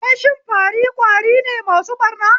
Wai shin fari ƙwari ne masu ɓarna?